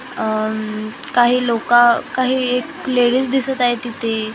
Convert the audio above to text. अम काही लोकं काही क्लेरीज दिसत आहेत तिथे.